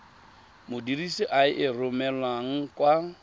modirisi a e romelang kwa